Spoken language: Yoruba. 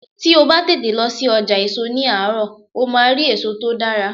Tí o bá tètè lọ sí ọjà èso ní àárọ̀, o máa rí èso tó dára.